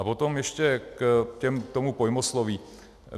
A potom ještě k tomu pojmosloví.